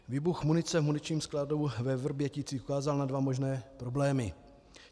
Výbuch munice v muničním skladu ve Vrběticích ukázal na dva možné problémy.